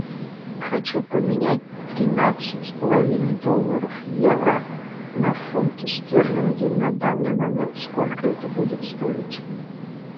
хочу поменять тринадцать с половиной долларов евро на фунты стерлингов на данный момент сколько это будет стоить